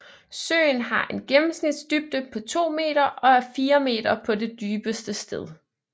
Søen har en gennemsnitsdybde på 2 m og er 4 m på det dybeste sted